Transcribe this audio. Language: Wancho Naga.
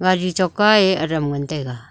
gari choka ye adam ngantaiga.